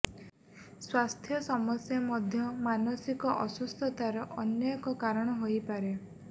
ସ୍ବାସ୍ଥ୍ୟ ସମସ୍ୟା ମଧ୍ୟ ମାନସିକ ଅସୁସ୍ଥତାର ଅନ୍ୟ ଏକ କାରଣ ହୋଇପାରେ